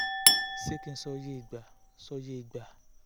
ṣé kí n sọ iye ìgbà sọ iye ìgbà